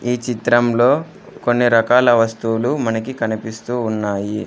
ఈ చిత్రంలో కొన్ని రకాల వస్తువులు మనకి కనిపిస్తూ ఉన్నాయి.